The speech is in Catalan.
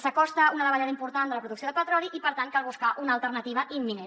s’acosta una davallada important de la producció de petroli i per tant cal buscar una alternativa imminent